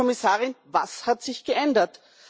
Frau Kommissarin, was hat sich geändert?